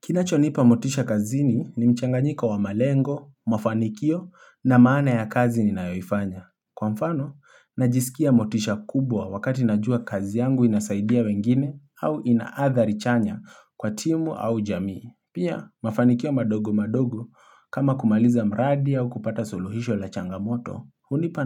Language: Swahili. Kinacho nipa motisha kazini ni mchanga nyiko wa malengo, mafanikio na maana ya kazi ninayoifanya. Kwa mfano, najisikia motisha kubwa wakati najua kazi yangu inasaidia wengine au ina adhari chanya kwa timu au jamii. Pia, mafanikio madogo madogo kama kumaliza mradi au kupata suluhisho la changamoto, hunipa